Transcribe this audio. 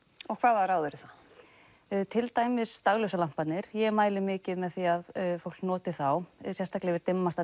og hvaða ráð eru það til dæmis ég mæli mikið með því að fólk noti þá sérstaklega yfir dimmasta